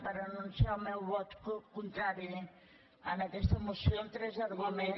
per anunciar el meu vot contrari en aquesta moció amb tres arguments